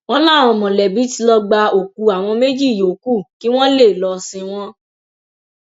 wọn láwọn mọlẹbí tí lọọ gba òkú àwọn méjì yòókù kí wọn lè lọọ sin wọn